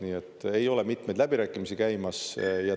Nii et ei ole mitmeid läbirääkimisi käimas.